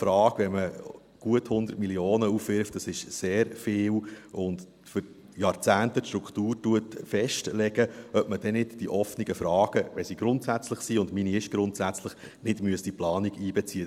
Wenn man gut 100 Mio. Franken aufwirft – das ist sehr viel – und für Jahrzehnte die Struktur festlegt, müsste man dann nicht die offenen Fragen, wenn sie grundsätzlich sind – und meine ist grundsätzlich –, in die Planung einbeziehen?